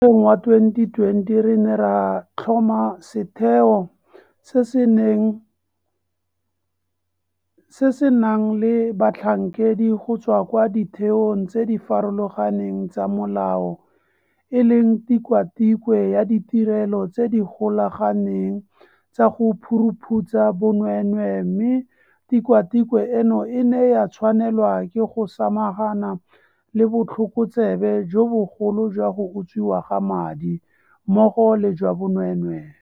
Ngwageng wa 2020 re ne ra tlhoma setheo se se nang le batlhankedi go tswa kwa ditheong tse di farologaneng tsa molao e leng Tikwatikwe ya Ditirelo tse di Golaganeng tsa go Phuruphutsha Bonweenwee mme tikwatikwe eno e ne ya tshwanelwa ke go samagana le botlhokotsebe jo bogolo jwa go utswiwa ga madi, mmogo le jwa bonweenwee.